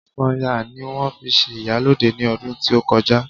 Sanya ni won fi se iyaloja ni odun ti o koja